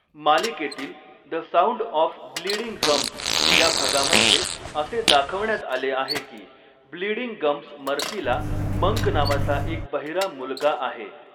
मालिकेतील 'the sound of bleeding gums' या भागामध्ये असे दाखवण्यात आले आहे की 'ब्लीडिंग गम्ज मर्फी'ला 'मंक' नावाचा एक बहिरा मुलगा आहे.